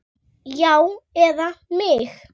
Já, eða mig?